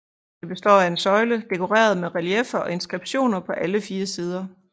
Det består af en søjle dekoreret med relieffer og inskriptioner på alle fire sider